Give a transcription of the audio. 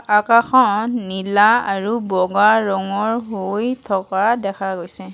আকাশখন নীলা আৰু বগা ৰঙৰ হৈ থকা দেখা গৈছে।